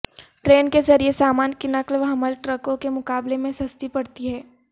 train کے ذریعے سامان کی نقل و حمل ٹرکوں کے مقابلے میں سستی پڑتی ہے